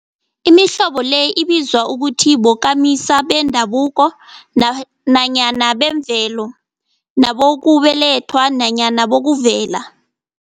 Imihlobo le ibizwa ukuthi bokamisa bendabuko nanyana bemvelo, nabokubelethwa nanyana bokuvela.